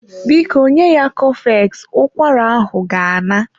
Biko nye ya cofex, ụkwara ahụ ga-ana.